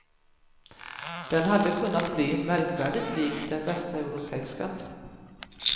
Den hade kunnat bli märkvärdigt likt den västeuropeiska.